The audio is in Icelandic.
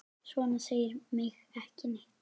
Svona særir mig ekki neitt.